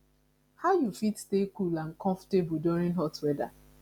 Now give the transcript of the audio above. how you fit stay cool and comfortable during hot weather